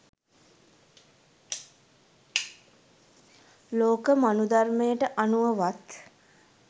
ලෝක මනුදර්මයට අනුව වත්